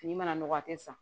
Fini mana nɔgɔ a te san